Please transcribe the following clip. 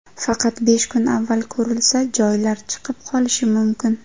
Faqat besh kun avval ko‘rilsa, joylar ‘chiqib qolishi’ mumkin.